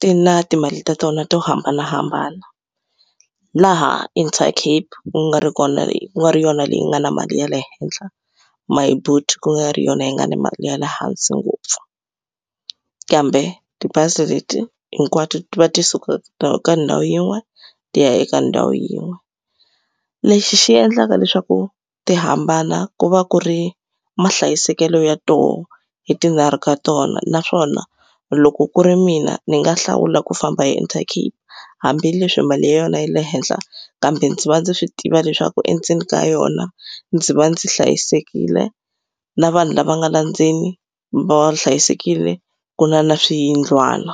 ti na timali ta tona to hambanahambana laha Intercape ku nga ri kona ku nga ri yona leyi nga na mali ya le henhla Myboet ku nga ri yona yi nga na mali ya le hansi ngopfu kambe tibazi leti hinkwato ti va ti suka ka ndhawu yin'we ti ya eka ndhawu yin'we. Lexi xi endlaka leswaku ti hambana ku va ku ri mahlayisekelo ya tona hi tinharhu ka tona naswona loko ku ri mina ndzi nga hlawula ku famba hi intercape hambileswi mali ya yona yi le henhla kambe ndzi va ndzi swi tiva leswaku endzeni ka yona ndzi va ndzi hlayisekile na vanhu lava nga la ndzeni va ri hlayisekile ku na na swiyindlwana.